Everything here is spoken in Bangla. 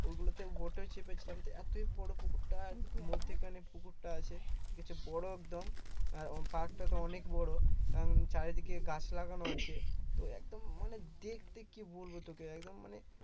ওগুলোতে boat এ চেপে ছিলাম এতই বড় পুকুরটা মধ্যিখানে পুকুরটা আছে একটু বড় একদম park টা তো অনেক বড় কারণ চারদিকে গাছ লাগানো আছে তো একদম মানে দেখতে কি বলবো তোকে একদম মানে